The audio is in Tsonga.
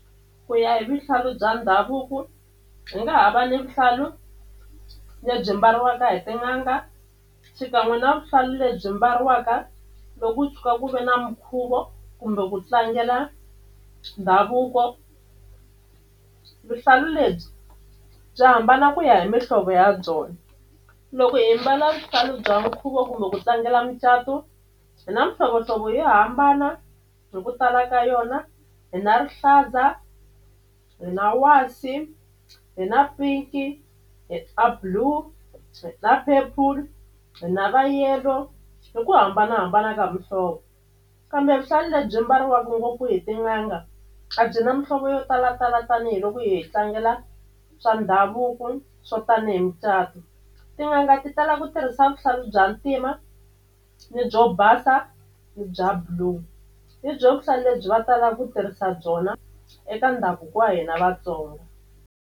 Ku ya hi vuhlalu bya ndhavuko hi nga ha va ni vuhlalu lebyi mbariwaka hi tin'anga xikan'we na vuhlalu lebyi mbariwaka loko ku tshuka ku ve na minkhuvo kumbe ku tlangela ndhavuko. Vuhlalu lebyi bya hambana ku ya hi mihlovo ya byona loko hi mbala vuhlalu bya nkhuvo kumbe ku tlangela mucato hi na mihlovohlovo yo hambana hi ku tala ka yona hi na rihlaza, hi na wasi, hi na pink, hi a blue na purple, hi na va yellow hi ku hambanahambana ka muhlovo kambe vuhlalu lebyi mbariwaka ngopfu hi tin'anga a byi na muhlovo yo talatala tanihiloko hi tlangela swa ndhavuko swo tanihi micato tin'anga ti tala ku tirhisa vuhlalu bya ntima ni byo basa ni bya blue hi byo vuhlalu lebyi va talaka ku tirhisa byona eka ndhavuko wa hina Vatsonga.